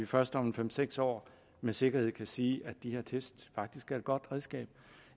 først om fem seks år med sikkerhed kan sige at de her test faktisk er et godt redskab